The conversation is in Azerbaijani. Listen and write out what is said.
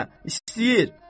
Bə, istəyir.